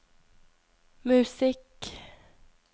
musikk